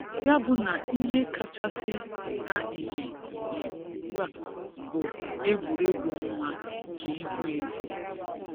Ya bụ na ihe kachasị pụta ìhè ìhè ugbua bụ egwuregwu ọnwa nke ihu ezi.